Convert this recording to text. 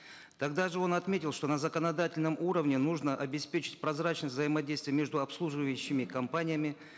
тогда же он отметил что на законодательном уровне нужно обеспечить прозрачность взаимодействия между обслуживающими компаниями